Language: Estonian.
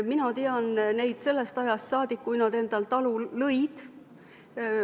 Mina tean neid sellest ajast saadik, kui nad talu lõid.